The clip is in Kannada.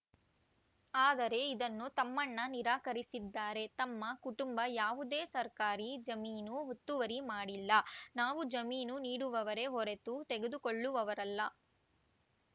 ಆದರೆ ಇದನ್ನು ತಮ್ಮಣ್ಣ ನಿರಾಕರಿಸಿದ್ದಾರೆ ತಮ್ಮ ಕುಟುಂಬ ಯಾವುದೇ ಸರ್ಕಾರಿ ಜಮೀನು ಹುತ್ತುವರಿ ಮಾಡಿಲ್ಲ ನಾವು ಜಮೀನು ನೀಡುವವರೇ ಹೊರತು ತೆಗೆದುಕೊಳ್ಳುವವರಲ್ಲ